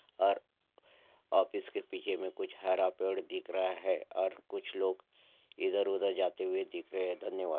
और ऑफिस के पीछे में कुछ हरा पेड़ दिख रहा है और कुछ लोग इधर-उधर जाते हुए दिख रहे हैं धन्यवाद।